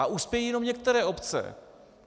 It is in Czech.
A uspějí jenom některé obce.